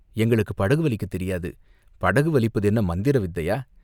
எங்களுக்குப் படகு வலிக்கத் தெரியாது, படகு வலிப்பது என்ன மந்திர வித்தையா